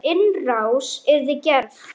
Ef innrás yrði gerð?